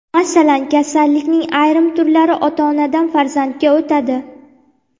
Masalan, kasallikning ayrim turlari ota-onadan farzandga o‘tadi.